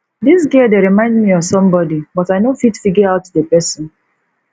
dis girl dey remind me of somebody but i no fit figure out the person